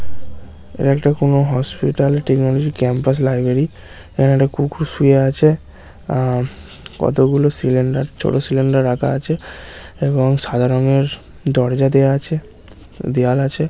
একটা কোন hospital technology campus library কুকুর শুয়ে আছে আর কতগুলো সিলিন্ডার ছোট সিলিন্ডার রাখা আছে এবং সাধারংএর দরজা দেয়া আছে দেয়াল আছে।